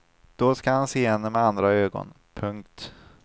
Då ska han se henne med andra ögon. punkt